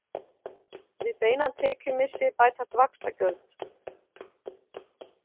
Við beinan tekjumissi bætast vaxtagjöld.